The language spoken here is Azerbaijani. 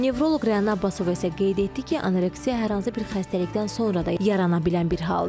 Nevroloq Rəna Abbasova isə qeyd etdi ki, anoreksiya hər hansı bir xəstəlikdən sonra da yarana bilən bir haldır.